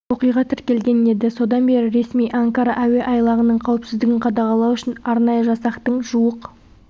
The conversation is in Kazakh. оқиға тіркелген еді содан бері ресми анкара әуе айлағының қауіпсіздігін қадағалау үшін арнайы жасақтың жуық